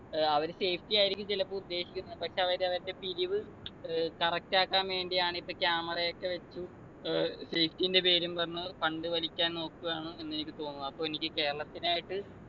ഏർ അവര് safety ആയിരിക്കും ചിലപ്പോ ഉദ്ദേശിക്കുന്നത് പക്ഷെ അവര് അവരുടെ പിരിവ് ഏർ correct ആക്കാൻ വേണ്ടിയാണിപ്പൊ camera ഒക്കെ വച്ചു ഏർ safety ൻ്റെ പേരും പറഞ്ഞ് fund വലിക്കാൻ നോക്കുവാണ് എന്നെനിക്ക് തോന്നുന്നു അപ്പൊ എനിക്ക് കേരളത്തിനായിട്ട്